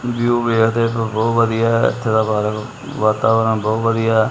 View ਵੇਖਦੇ ਪਏ ਹੋ ਬਹੁਤ ਵਧੀਆ ਹੈ ਇੱਥੇ ਦਾ ਵਾਤਾਵਰਣ ਬਹੁਤ ਵਧੀਆ ਹੈ।